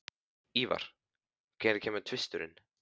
Ívar, hvenær kemur tvisturinn?